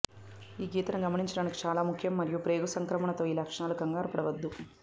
ఈ గీతను గమనించడానికి చాలా ముఖ్యం మరియు ప్రేగు సంక్రమణతో ఈ లక్షణాలు కంగారుపడవద్దు